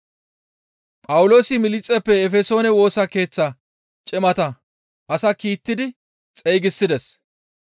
Phawuloosi Miliixeppe Efesoone Woosa Keeththa cimata ase kiittidi xeygisides.